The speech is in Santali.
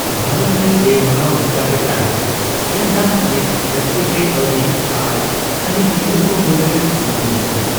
ᱵᱷᱟᱨᱚᱛ ᱨᱮ ᱵᱮᱼᱢᱟᱱᱟᱣ ᱞᱮᱠᱟᱛᱮ ᱛᱟᱦᱮᱱᱸ ᱢᱮᱱᱠᱷᱟᱱ ᱱᱤᱛ ᱡᱟᱹᱥᱛᱤ ᱜᱮ ᱠᱟᱣᱰᱤ ᱟᱨ ᱠᱷᱟᱹᱞᱤ ᱦᱤᱱᱫᱩ ᱠᱚ ᱢᱩᱫᱨᱮ ᱥᱤᱢᱟᱹ ᱵᱟᱹᱱᱩᱜᱼᱟ ᱾